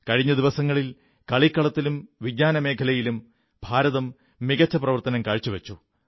കഴിഞ്ഞ ദിവസങ്ങളിൽ കളിക്കളത്തിലും വിജ്ഞാനമേഖലയിലും ഭാരതം മികച്ച പ്രവർത്തനം കാഴ്ചവച്ചു